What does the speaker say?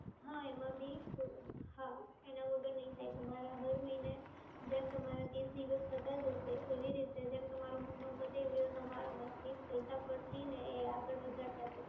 હા, એના વગર નહિ થાય. તમારા હર મહિને જેમ તમારા ત્રીસ દિવસ થતા જશે એવી રીતે જેમ તમારો મહિનો પતે એવી રીતે તમારામાંથી પૈસા કટ થઈને એ આગળ વધારતા જશે.